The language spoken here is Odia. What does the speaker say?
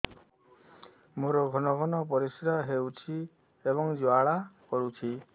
ମୋର ଘନ ଘନ ପରିଶ୍ରା ହେଉଛି ଏବଂ ଜ୍ୱାଳା କରୁଛି